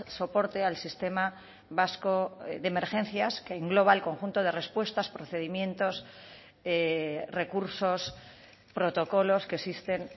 soporte al sistema vasco de emergencias que engloba el conjunto de respuestas procedimientos recursos protocolos que existen